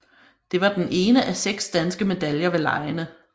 Det var den ene af seks danske medaljer ved legene